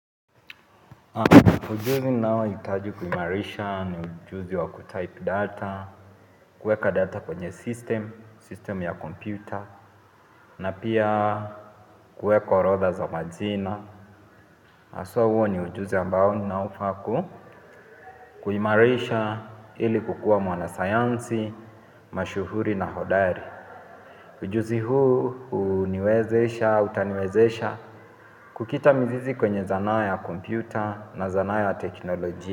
Ujuzi naohitaji kuimarisha ni ujuzi wa kutype data. Kuweka data kwenye system, system ya computer. Na pia kueka orodha za majina haswa huo ni ujuzi ambao naofaa ku kuimarisha ili kukua mwanasayansi, mashuhuri na hodari. Ujuzi huu uniwezesha, utaniwezesha kukita mizizi kwenye zanaa ya computer na zanaa ya teknolojia.